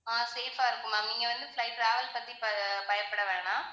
ஆஹ் safe ஆ இருக்கும் ma'am நீங்க வந்து flight travel பத்தி பயப்படவேண்டாம்